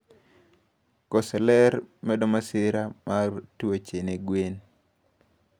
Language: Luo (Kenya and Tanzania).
Koso lerr medo masira mag tuoche ne gwen